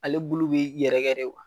Ale bulu bɛ yɛrɛkɛ de kuwa.